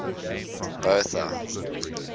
bertha